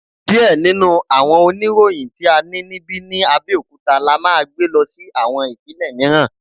Diẹ ninu awọn oniroyin ti a ni nibi ni Abeokuta la maa gbe lọ si awọn ipinlẹ miiran